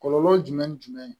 Kɔlɔlɔ jumɛn ni jumɛn ye